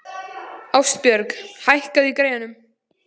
Ástbjörg, hækkaðu í græjunum.